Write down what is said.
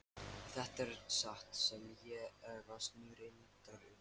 Ef þetta er satt sem ég efast nú reyndar um.